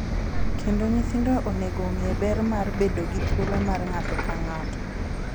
Kendo nyithindo onego ong’e ber mar bedo gi thuolo mar ng’ato ka ng’ato.